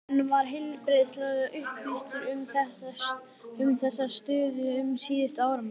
En var heilbrigðisráðherra upplýstur um þessa stöðu um síðustu áramót?